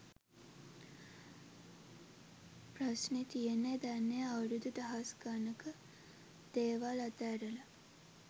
ප්‍රස්නේ තියෙන්නේ දැන් ඒ අවුරුදු දහස් ගණක දේවල් අත ඇරලා